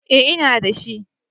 Eh ina dashi